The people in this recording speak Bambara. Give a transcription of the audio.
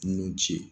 Nun ci